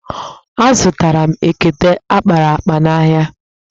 Azụtara m ekete akpara akpa n'ahịa.